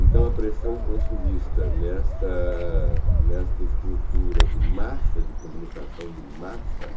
Então a pressão consumista nesta nesta estrutura de massa, de comunicação de massa,